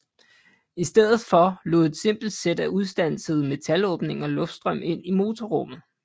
I stedet for lod et simpelt sæt af udstansede metalåbninger luftstrøm ind i motorrummet